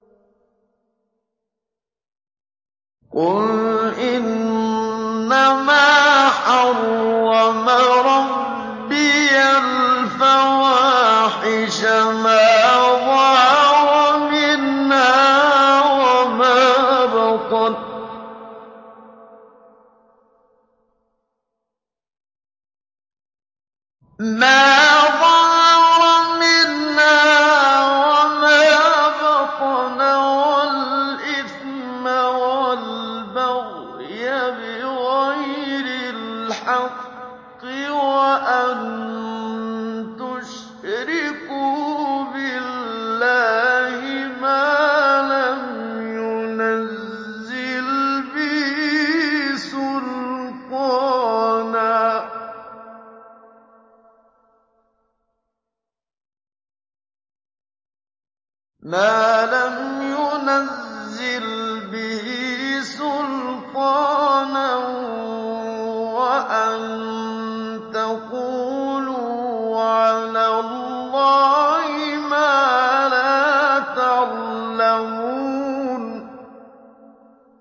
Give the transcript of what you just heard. قُلْ إِنَّمَا حَرَّمَ رَبِّيَ الْفَوَاحِشَ مَا ظَهَرَ مِنْهَا وَمَا بَطَنَ وَالْإِثْمَ وَالْبَغْيَ بِغَيْرِ الْحَقِّ وَأَن تُشْرِكُوا بِاللَّهِ مَا لَمْ يُنَزِّلْ بِهِ سُلْطَانًا وَأَن تَقُولُوا عَلَى اللَّهِ مَا لَا تَعْلَمُونَ